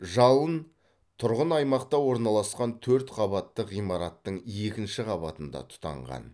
жалын тұрғын аймақта орналасқан төрт қабатты ғимараттың екінші қабатында тұтанған